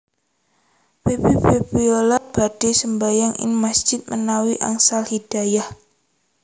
Feby Febiola badhe sembahyang ing masjid menawi angsal hidayah